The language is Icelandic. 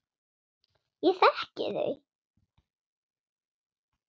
Ég þekki þau.